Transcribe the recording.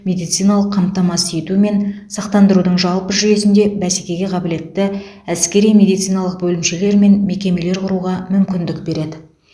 медициналық қамтамасыз ету мен сақтандырудың жалпы жүйесінде бәсекеге қабілетті әскери медициналық бөлімшелер мен мекемелер құруға мүмкіндік береді